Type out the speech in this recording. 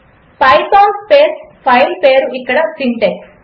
Python space file పేరు ఇక్కడ syntax